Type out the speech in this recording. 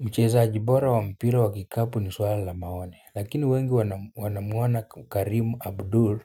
Mchezaji bora wa mpira wa kikapu ni swala la maoni lakini wengi wanamuona Karimu Abdur